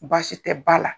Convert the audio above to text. Baasi tɛ ba la